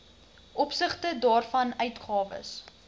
opsigte waarvan uitgawes